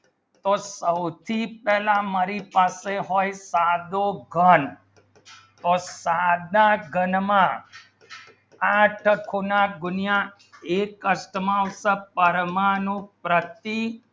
તો સૌથી પેહલા હોય મારે સાથી સાધો ઘણ ટાર સાંધા ઘણ માં આઠ ગુના ગુણ્યાં એક કરત માં પરમાણુ પ્રતિ